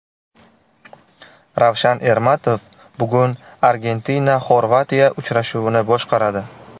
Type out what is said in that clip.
Ravshan Ermatov bugun ArgentinaXorvatiya uchrashuvini boshqaradi.